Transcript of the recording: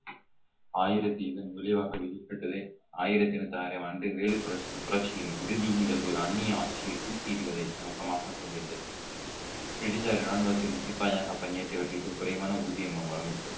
ஆயிரத்தி இதன் விளைவாக விதிக்கப்பட்டது ஆயிரத்தி நூத்தி ஆறாம் ஆண்டு வேலு புரட்சி புரட்சியின் இறுதி நிகழ்வு அன்னிய ஆட்சி தூக்கி எறிவதை நோக்கமாக கொண்டிருந்தது பிரிட்டிஷாரின் ராணுவத்தின் சிப்பாயாக பணியாற்றியவர்களுக்கு குறைவான ஊதியமும் வழங்கப்பட்டது